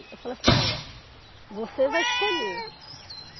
Eu falo assim, olha, você vai escolher.